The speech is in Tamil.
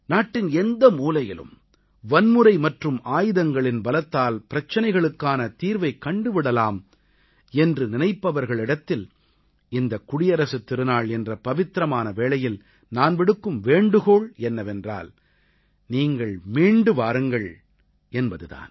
நாட்டின் எந்த மூலையிலும் வன்முறை மற்றும் ஆயுதங்களின் பலத்தால் பிரச்சனைகளுக்கான தீர்வைக் கண்டுவிடலாம் என்று நினைப்பவர்களிடத்தில் இந்த குடியரசுத்திருநாள் என்ற பவித்திரமான வேளையில் நான் விடுக்கும் வேண்டுகோள் என்னவென்றால் நீங்கள் மீண்டு வாருங்கள் என்பது தான்